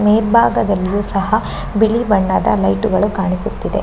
ಮೇಲಬಾಗದಲ್ಲಿಯೂ ಸಹ ಬಿಳಿ ಬಣ್ಣದ ಲೈಟುಗಳು ಕಾಣಿಸುತ್ತಿದೆ.